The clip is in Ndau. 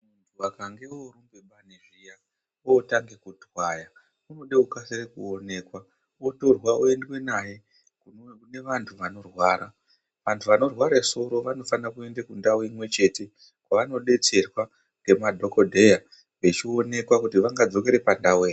Vakange vorumbe bani zviya votange kutwaya unide kukasira kuonekwa otorwa oendwe naye kune vantu vanorwara, vantu vanorware soro vanofane kuende kundau imwechete kwavanodetserwa ngemadhokodheya vechionekwa kuti vangadzoke pandau ere.